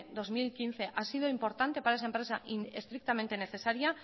dos mil quince ha sido importante para esa empresa y estrictamente necesaria